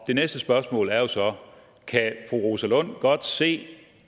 næste spørgsmål er jo så kan fru rosa lund godt se